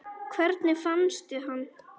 Hvernig fannstu hann?